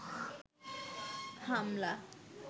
হামলা